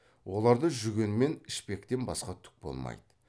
оларда жүген мен ішпектен басқа түк болмайды